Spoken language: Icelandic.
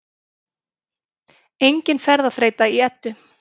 Engin ferðaþreyta í Eddu